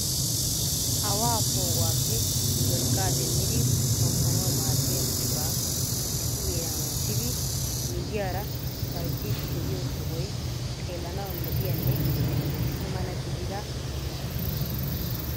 Awaa poo'uwappe wolqqaa demmidi xomppanaw maaddiyaa buquraa issi heeran wottidi miyyiyaara charjjiidi de'iyo sohoy xeelanaw lo"iyaanne issi mala gidida sohuwa.